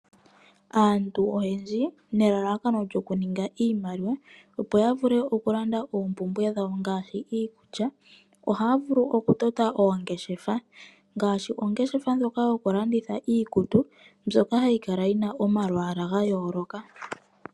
Aantu oyendji nelalakanolyoku ninga iimaliwa, opo ya vule oku landa oompumbwe dhawo ngashi iikulya. Ohaya vulu oku tota oongeshefa, ngashi ongeshefa ndjoka yoku landitha iikutu, mbyoka hayi kalayina omalwaala ga yooloka.